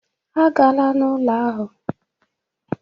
Agala n'ụlọ ahụ!